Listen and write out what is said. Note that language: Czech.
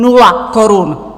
Nula korun!